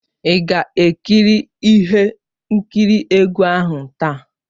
Ị ga-ekiri ihe nkiri egwu ahụ taa!